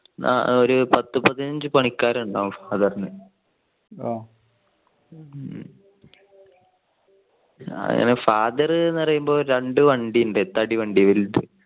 ആ ഒരു പത്തു പതിനഞ്ചു പണിക്കാരുണ്ടാവും father ന്. father പറയുമ്പോ രണ്ട് വണ്ടി ഉണ്ട് തടി വണ്ടി വലിത്.